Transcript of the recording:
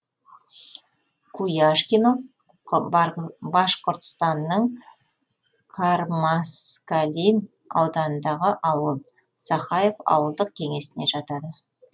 куяшкино башқұртстанның кармаскалин ауданындағы ауыл сахаев ауылдық кеңесіне жатады